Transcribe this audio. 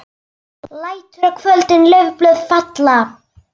Byrjaði svo að syngja aftur: LÆTUR Á KVÖLDIN LAUFBLÖÐ FALLA.